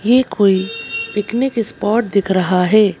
ये कोई picnic spot दिख रहा है।